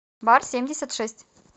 бар семьдесят шесть